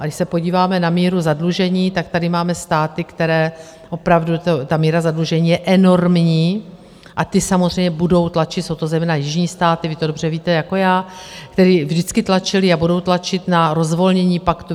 A když se podíváme na míru zadlužení, tak tady máme státy, které opravdu ta míra zadlužení je enormní, a ty samozřejmě budou tlačit, jsou to zejména jižní státy, vy to dobře víte jako já, které vždycky tlačily a budou tlačit na rozvolnění paktu.